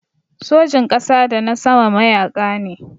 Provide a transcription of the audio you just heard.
Sojin ƙasa da na sama mayaƙa ne.